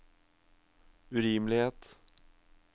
urimelighet